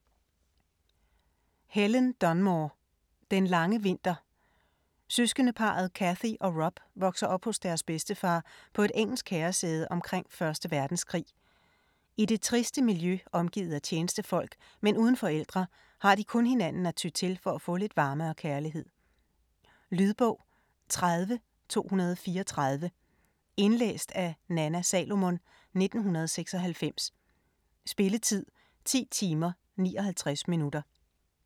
Dunmore, Helen: Den lange vinter Søskendeparret Cathy og Rob vokser op hos deres bedstefar på et engelsk herresæde omkring 1. Verdenskrig. I det triste miljø, omgivet af tjenestefolk, men uden forældre, har de kun hinanden at ty til for at få lidt varme og kærlighed. Lydbog 30234 Indlæst af Nanna Salomon, 1996. Spilletid: 10 timer, 59 minutter.